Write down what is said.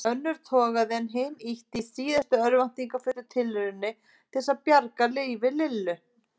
Önnur togaði en hin ýtti í síðustu örvæntingarfullu tilrauninni til að bjarga lífi Lillu.